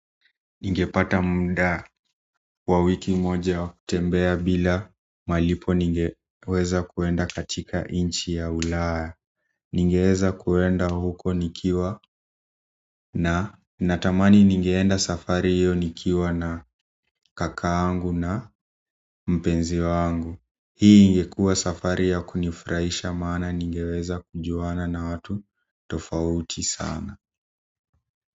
Ningepata muda wa wiki moja wa kutembea bila malipo ningeweza kwenda katika nchi ya ulaa ningeweza kwenda huko nikiwa na natamani ningeenda safari hiyo nikiwa na kakaa angu na mpenzi wangu hii ingekuwa safari ya kunifurahisha maana ningeweza kujuana na watu tofauti sana.